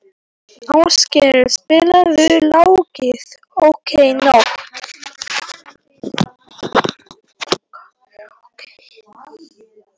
Áskell, spilaðu lagið „Okkar nótt“.